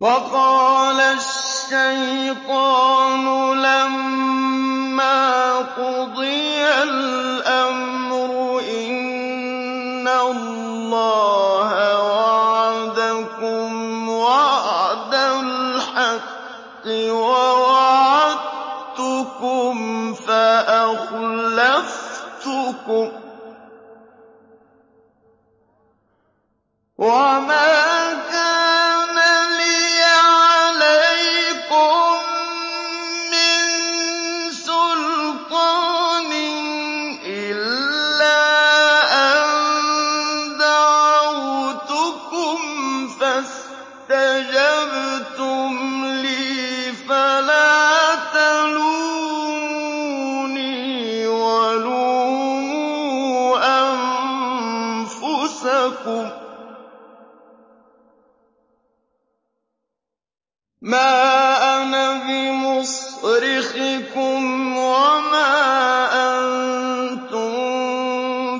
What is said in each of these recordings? وَقَالَ الشَّيْطَانُ لَمَّا قُضِيَ الْأَمْرُ إِنَّ اللَّهَ وَعَدَكُمْ وَعْدَ الْحَقِّ وَوَعَدتُّكُمْ فَأَخْلَفْتُكُمْ ۖ وَمَا كَانَ لِيَ عَلَيْكُم مِّن سُلْطَانٍ إِلَّا أَن دَعَوْتُكُمْ فَاسْتَجَبْتُمْ لِي ۖ فَلَا تَلُومُونِي وَلُومُوا أَنفُسَكُم ۖ مَّا أَنَا بِمُصْرِخِكُمْ وَمَا أَنتُم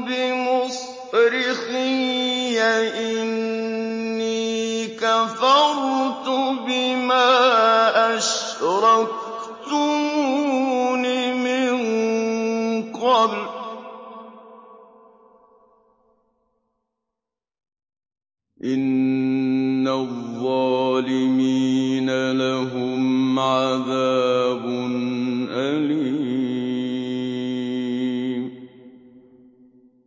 بِمُصْرِخِيَّ ۖ إِنِّي كَفَرْتُ بِمَا أَشْرَكْتُمُونِ مِن قَبْلُ ۗ إِنَّ الظَّالِمِينَ لَهُمْ عَذَابٌ أَلِيمٌ